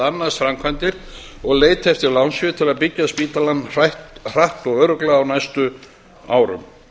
annast framkvæmdir og leita eftir lánsfé til að byggja spítalann hratt og örugglega á næstu árum